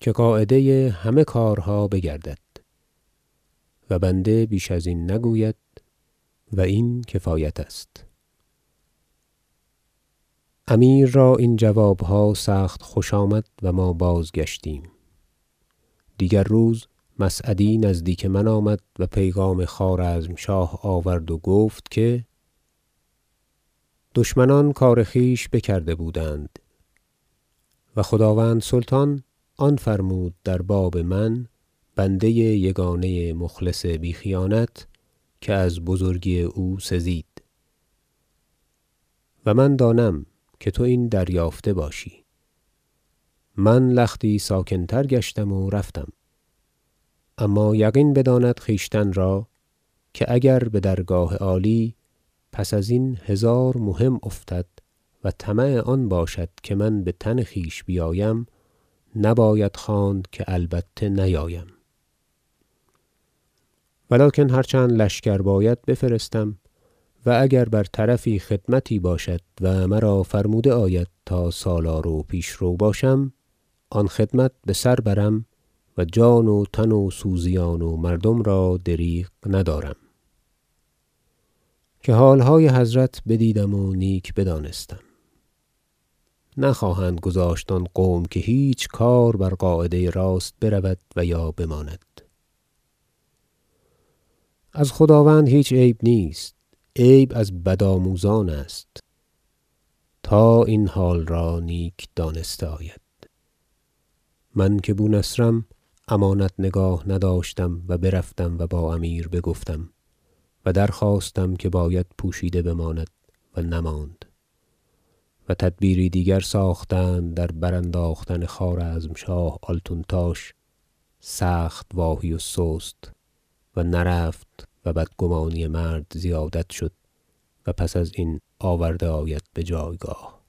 که قاعده همه کارها بگردد و بنده بیش از این نگوید و این کفایت است امیر را این جوابها سخت خوش آمد و ما بازگشتیم دیگر روز مسعدی نزدیک من آمد و پیغام خوارزم شاه آورد و گفت که دشمنان کار خویش بکرده بودند و خداوند سلطان آن فرمود در باب من بنده یگانه مخلص بی خیانت که از بزرگی او سزید و من دانم که تو این دریافته باشی من لختی ساکن تر گشتم و رفتم اما یقین بداند خویشتن را که اگر بدرگاه عالی پس از این هزار مهم افتد و طمع آن باشد که من بتن خویش بیایم نباید خواند که البته نیایم ولکن هر چند لشکر باید بفرستم و اگر بر طرفی خدمتی باشد و مرا فرموده آید تا سالار و پیشرو باشم آن خدمت بسر برم و جان و تن و سوزیان و مردم را دریغ ندارم که حالهای حضرت بدیدم و نیک بدانستم نخواهند گذاشت آن قوم که هیچ کار بر قاعده راست برود و یا بماند از خداوند هیچ عیب نیست عیب از بدآموزان است تا این حال را نیک دانسته آید من که بونصرم امانت نگاه نداشتم و برفتم و با امیر بگفتم و درخواستم که باید پوشیده بماند و نماند و تدبیری دیگر ساختند در برانداختن خوارزم شاه آلتونتاش سخت واهی و سست و نرفت و بدگمانی مرد زیادت شد و پس ازین آورده آید بجایگاه